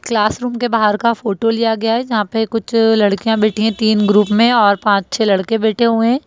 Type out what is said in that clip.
Class room के बाहर का फोटो लिया गया है जहाँ पे कुछ लड़कियाँ बैठी हैं तीन ग्रुप में और पांच छे लड़के बैठे हुए हैं।